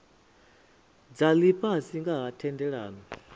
dza lifhasi nga ha thendelano